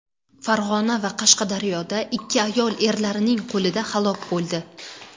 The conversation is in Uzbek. Farg‘ona va Qashqadaryoda ikki ayol erlarining qo‘lida halok bo‘ldi.